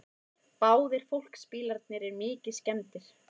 Báðir fólksbílarnir eru mikið skemmdir